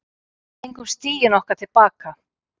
Fengum stigin okkar til baka